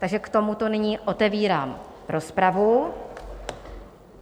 Takže k tomuto nyní otevírám rozpravu.